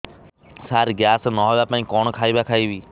ସାର gas ନ ହେବା ପାଇଁ କଣ ଖାଇବା ଖାଇବି